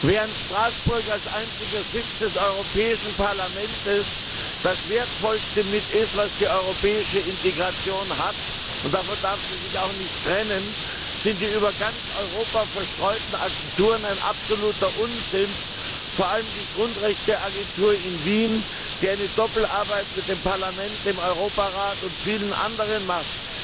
Während Straßburg als einziger Sitz des Europäischen Parlaments mit das Wertvollste ist, was die europäische Integration hat und davon darf sie sich auch nicht trennen sind die über ganz Europa verstreuten Agenturen ein absoluter Unsinn vor allem die Grundrechteagentur in Wien, die eine Doppelarbeit mit dem Parlament, dem Europarat und vielen anderen macht!